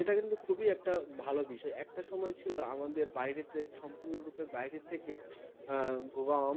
এটা কিন্তু খুবই একটা ভালো বিষয়. একটা সময় ছিল আমাদের বাইরে থেকে সম্পূর্ণ রূপে, বাইরে থেকে গম